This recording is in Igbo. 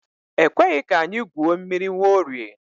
E kweghị ka anyị gwuo mmiri Nwaorie.